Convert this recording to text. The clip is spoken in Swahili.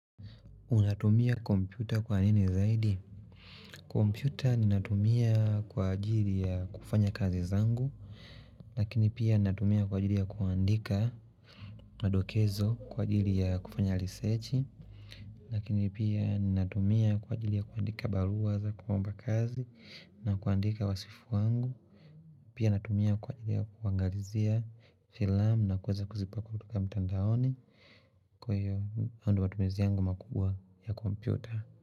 Unatumia kompyuta kwa nini zaidi? Kompyuta ninatumia kwa ajili ya kufanya kazi zangu Lakini pia ninatumia kwa ajili ya kuandika Madokezo kwa ajili ya kufanya risachi Lakini pia ninatumia kwa ajili ya kuandika barua za kuomba kazi na kuandika wasifu wangu Pia natumia kwa ajili ya kuangalizia filamu na kuweza kuzipa kutoka mtandaoni. Kwa hiyo, hayo ndiyo matumizi yangu makubwa ya kompyuta.